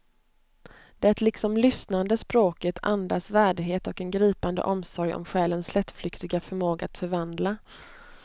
Det liksom lyssnande språket andas värdighet och en gripande omsorg om själens lättflyktiga förmåga att förvandla.